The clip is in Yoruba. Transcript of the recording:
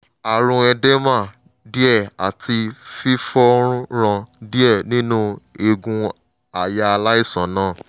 àrùn edema díẹ̀ àti fífọ́nrán díẹ̀ nínú eegun àyà aláìsàn náà